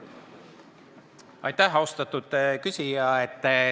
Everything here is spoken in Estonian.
Aitäh, austatud küsija!